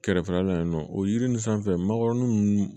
Kɛrɛfɛla la yan nɔ o yiri nin sanfɛ magɔrɔni ninnu